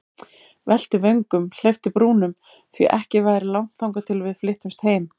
Velti vöngum, hleypti brúnum, því ekki væri langt þangað til við flyttumst heim.